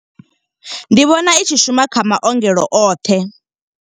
Ndi vhona i tshi shuma kha maongelo oṱhe.